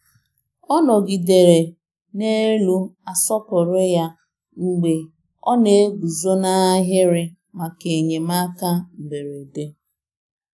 Ọ nọgidere n'elu asọpụrụ ya mgbe ọ na-eguzo n'ahịrị maka enyemaka mberede.